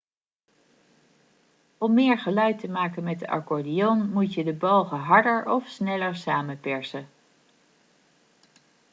om meer geluid te maken met de accordeon moet je de balgen harder of sneller samenpersen